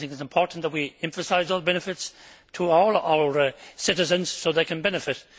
I think it is important that we emphasise those benefits to all our citizens, so that they can benefit.